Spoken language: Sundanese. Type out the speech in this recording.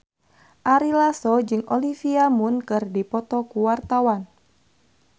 Ari Lasso jeung Olivia Munn keur dipoto ku wartawan